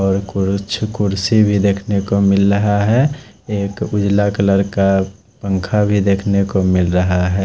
और कुर्सी भी देखने को मिल रहा है एक उजाला कलर का पंखा भी देखने को मिल रहा है।